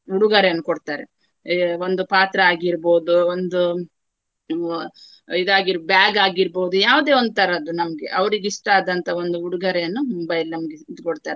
ಉಡುಗೊರೆಯನ್ನು ಕೊಡ್ತಾರೆ. ಆ ಒಂದು ಪಾತ್ರ ಆಗಿರ್ಬಹುದು. ಒಂದು ಆ ಇದಾರ್ಗಿ~ bag ಆಗಿರ್ಬಹುದು ಯಾವುದೇ ಒಂದು ತರದ್ದು ನಮ್ಗೆ. ಅವರಿಗೆ ಇಷ್ಟ ಆದಂತಹ ಒಂದು ಉಡೊಗೊರೆಯನ್ನು ಮುಂಬೈಯಲ್ಲಿ ನಮ್ಗೆ ಇದು ಕೊಡ್ತಾರೆ.